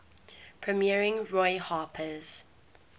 premiering roy harper's